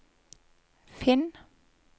finn